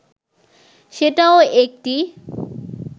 সেটাও একটি